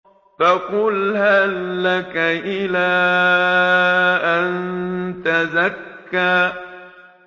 فَقُلْ هَل لَّكَ إِلَىٰ أَن تَزَكَّىٰ